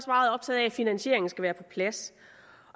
meget optaget af at finansieringen skal være på plads